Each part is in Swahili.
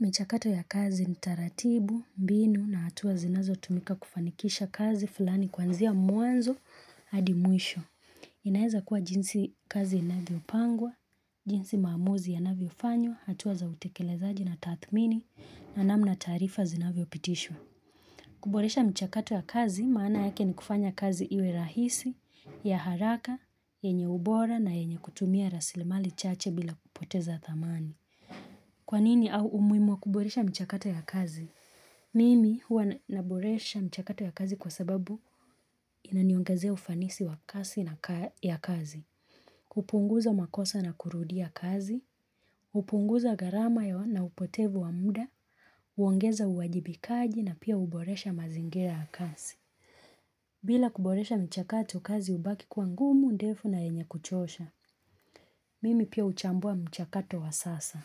Michakato ya kazi ni taratibu, mbinu na hatua zinazotumika kufanikisha kazi fulani kwanzia mwanzo hadi mwisho. Inaeza kuwa jinsi kazi inavyopangwa, jinsi maamuzi ya navyofanywa, hatua za utekelezaji na tathmini na namna taarifa zinavyopitishwa. Kuboresha michakato ya kazi, maana yake ni kufanya kazi iwe rahisi ya haraka, yenye ubora na yenye kutumia rasili mali chache bila kupoteza thamani. Kwa nini au umuhimu wa kuboresha mchakato ya kazi? Mimi huwa naboresha mchakato ya kazi kwa sababu inaniongezea ufanisi wa kazi na kazi. Kupunguza makosa na kurudia kazi, hupunguza gharama ya wa na upotevu wa muda, uongeza uwajibikaji na pia huboresha mazingera ya kazi. Bila kuboresha mchakato kazi hubaki kwa ngumu ndefu na yenye kuchosha, mimi pia huchambua mchakato wa sasa.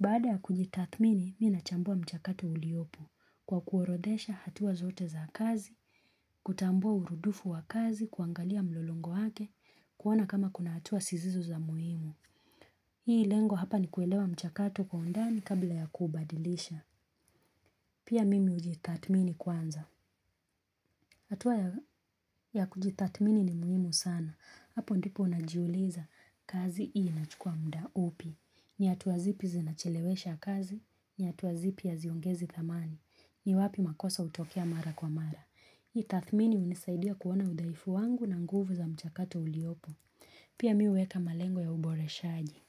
Baada ya kujitathmini, mimi ninachambua mchakato uliopk kwa kuorodhesha hatua zote za kazi, kutambua uhuru dufu wa kazi, kuangalia mlolongo wake, kuona kama kuna hatua zisizo za muhimu. Hii lengo hapa ni kuelewa mchakato kwa undani kabla ya kuubadilisha. Pia mimi hujitathmini kwanza. Hatua ya kujitathmini ni muhimu sana. Hapo ndipo unajiuliza kazi hii inachukua muda upi. Ni hatuabzipi zinachelewesha kazi, ni hatua zipi haziongezi thamani. Ni wapi makosa hutokea mara kwa mara. Hiki tathmini hunisaidia kuona udhaifu wangu na nguvu za mchakatu uliopo. Pia mimi huweka malengo ya uboreshaji.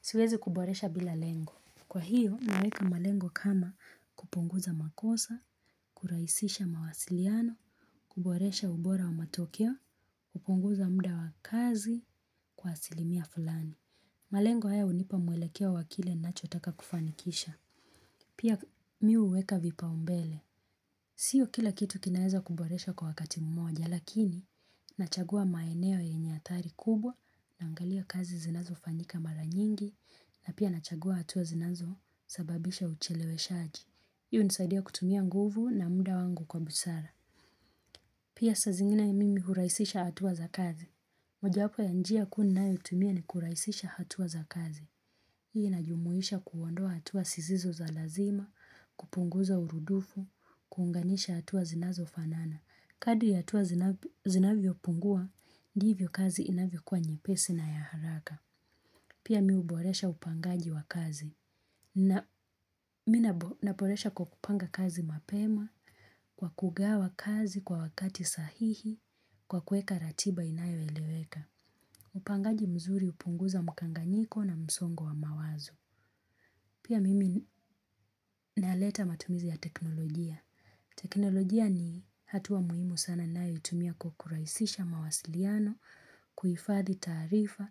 Siwezi kuboresha bila lengo. Kwa hiyo, naweka malengo kama kupunguza makosa, kurahisisha mawasiliano, kuboresha ubora wa matokeo, kupunguza muda wa kazi kwa asilimia fulani. Malengo haya hunipa mwelekeo wa kile nachotaka kufanikisha. Pia mimi huweka vipaombele. Sio kila kitu kinaeza kuboresha kwa wakati mmoja, lakini nachagua maeneo yenye athari kubwa naangalia kazi zinazofanyika mara nyingi na pia nachagua hatua zinazosababisha ucheleweshaji. Hii hunisaidia kutumia nguvu na muda wangu kwa busara. Pia saa zingine mimi hurahisisha hatua za kazi. Mojawapa ya njia kuu ninayotumia ni kurahisisha hatua za kazi. Hii inajumuisha kuondoa hatua sizizo za lazima, kupunguza urudufu, kuunganisha hatua zinazo fanana. Kadri ya hatua zinavyopungua, ndivyo kazi inavyokuwa nyepesi na ya haraka. Pia mimu huboresha upangaji wa kazi. Na mimi ninaboresha kwa kupanga kazi mapema, kwa kugawa kazi kwa wakati sahihi, kwa kuweka ratiba inayoeleweka. Upangaji mzuri hupunguza mkanganyiko na msongo wa mawazo. Pia mimi naleta matumizi ya teknolojia. Teknolojia ni hatua muhimu sana ninayoitumia kukurahisisha mawasiliano, kuhifadhi taarifa,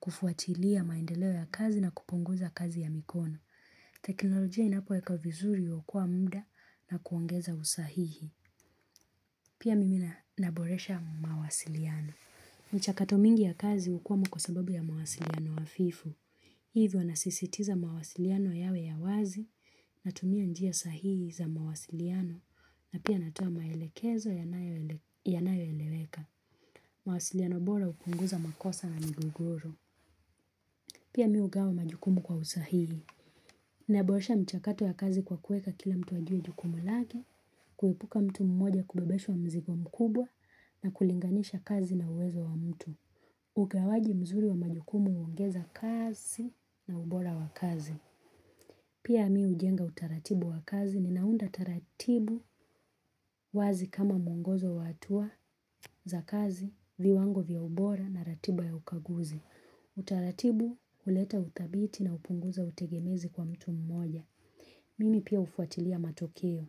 kufuatilia maendeleo ya kazi na kupunguza kazi ya mikono. Teknolojia inapoekwa vizuri huokoa muda na kuongeza usahihi Pia mimi ninaboresha mawasiliano michakato mingi ya kazi hukwama kwa sababu ya mawasiliano hafifu Hivyo nasisitiza mawasiliano yawe ya wazi Natumia njia sahihi za mawasiliano na pia natoa maelekezo yanayoeleweka mawasiliano bora hupunguza makosa na migogoro Pia mim hugawa majukumu kwa usahihi Ninaboresha mchakato ya kazi kwa kuweka kila mtu ajue jukumu lake, kuepuka mtu mmoja kubebeshwa mzigo mkubwa na kulinganisha kazi na uwezo wa mtu. Ugawaji mzuri wa majukumu huongeza kasi na ubora wa kazi. Pia mimi hujenga utaratibu wa kazi, ninaunda taratibu wazi kama mwongozo wa hatua za kazi, viwango vya ubora na ratiba ya ukaguzi. Utaratibu huleta uthabiti na hupunguza utegemezi kwa mtu mmoja. Mimi pia hufuatilia matokeo,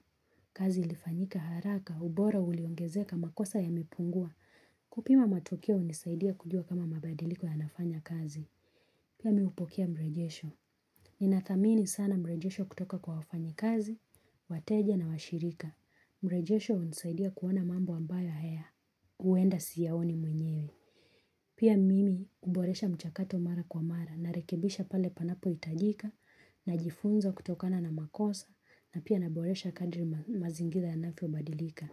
kazi ilifanyika haraka, ubora uliongezeka makosa yamepungua kupima matokeo hunisaidia kujua kama mabadiliko yanafanya kazi Pia mimu hupokia mrejesho Nina thamini sana mrejesho kutoka kwa wafanyi kazi, wateja na washirika mrejesho hunisaidia kuona mambo ambayo haya, huenda siyaoni mwenyewe Pia mimi huboresha mchakato mara kwa mara, narekebisha pale panapohitajika najifunza kutokana na makosa na pia naboresha kadri mazingira yanavyobadilika.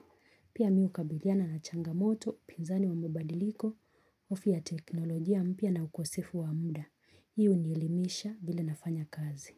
Pia mimi hukabiliana na changamoto, pinzani wa mabadiliko, hofu ya teknolojia mpya na ukosefu wa muda. Hii hunelimisha vile nafanya kazi.